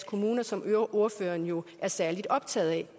kommuner som ordføreren jo er særlig optaget af